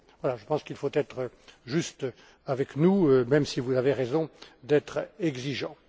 Je pense qu'il faut être juste avec nous, même si vous avez raison d'être exigeant.